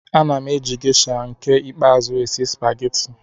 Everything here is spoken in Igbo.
Ana m eji Gesha nke ikpeazụ esi supageti.